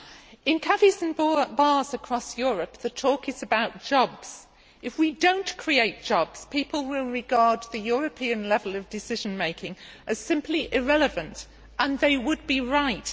Mr President, in cafés and bars across Europe the talk is about jobs. If we do not create jobs, people will regard the European level of decision making as simply irrelevant and they would be right.